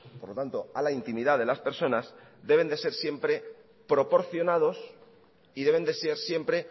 por lo tanto a la intimidad de las personas deben de ser siempre proporcionados y deben de ser siempre